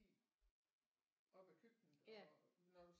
Op ad køkkenet og når du